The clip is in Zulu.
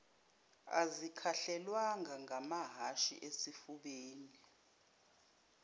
azikhahlelwanga ngamahhashi ezifubeni